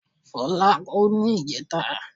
Fọlákẹ́ kú ní ìjẹẹ̀ta.